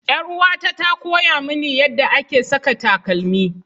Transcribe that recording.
Yar'uwata ta koya mini yadda ake saka takalmi.